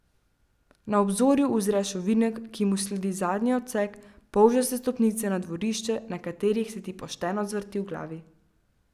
Na obzorju uzreš ovinek, ki mu sledi zadnji odsek, polžaste stopnice na dvorišče, na katerih se ti pošteno zvrti v glavi.